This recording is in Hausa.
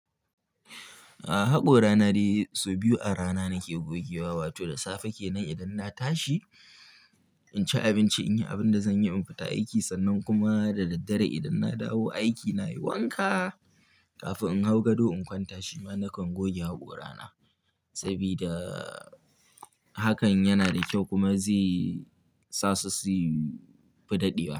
A'a, haƙo rana dai sau biyu a rana nake gogewa. Wato da safe kenan idan na tashi, in ci abinci, in yi abin da zan yi, in fita aiki sannan kuma da daddare idan na dawo aiki nayi wanka kafin in hau gado in kwanta shima nakan goge haƙo rana. Sabida hakan yana da kyau kuma zai sa sufi dadewa.